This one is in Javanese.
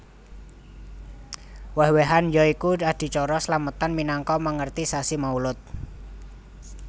Wèh wèhan ya iku adicara slametan minangka mèngeti sasi Maulud